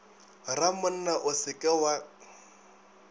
ramonna o se ke wa